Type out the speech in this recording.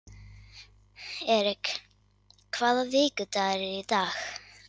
Erik, hvaða vikudagur er í dag?